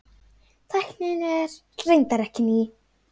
Tæknin er reyndar ekki ný.